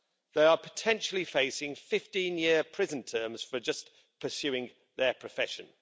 They are potentially facing 15-year prison terms for just pursuing their profession.